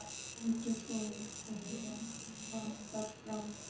Stendur svo upp og vappar fram.